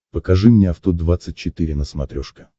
покажи мне авто двадцать четыре на смотрешке